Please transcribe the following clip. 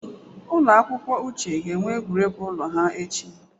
Ụlọ akwụkwọ Uche ga-enwe egwuregwu ụlọ ha echi